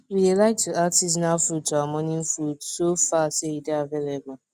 we dey like to add seasonal fruits to our morning food so far say e dey available